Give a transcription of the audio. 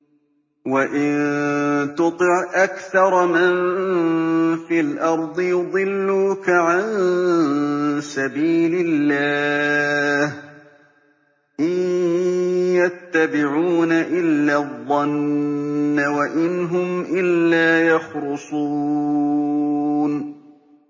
وَإِن تُطِعْ أَكْثَرَ مَن فِي الْأَرْضِ يُضِلُّوكَ عَن سَبِيلِ اللَّهِ ۚ إِن يَتَّبِعُونَ إِلَّا الظَّنَّ وَإِنْ هُمْ إِلَّا يَخْرُصُونَ